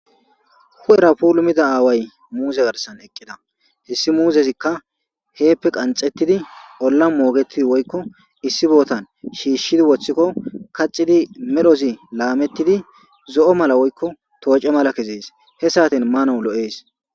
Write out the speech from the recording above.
Huphphera puulumida away muuze garssan eqqida hessi muuzeykka qanxxetidi holan moggetidi issi bootan shishi woththiko kaxxidi medhdhozi laametidi zo'o malla woykko toocce malla kezzes he sa'aten maanas lo'ess.